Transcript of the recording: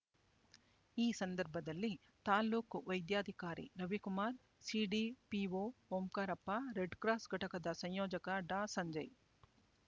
ಈ ಸಂದರ್ಭದಲ್ಲಿ ತಾಲ್ಲೂಕು ವೈದ್ಯಾಧಿಕಾರಿ ರವಿಕುಮಾರ್ ಸಿಡಿಪಿಓ ಓಂಕಾರಪ್ಪ ರೆಡ್‌ಕ್ರಾಸ್ ಘಟಕದ ಸಂಯೋಜಕ ಡಾ ಸಂಜಯ್